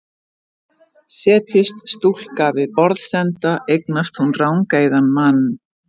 Setjist stúlka við borðsenda eignast hún rangeygðan mann.